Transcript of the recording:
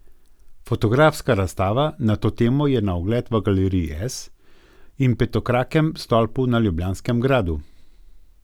Fotografska razstava na to temo je na ogled v Galeriji S in Petokrakem stolpu na Ljubljanskem gradu.